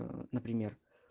ээ например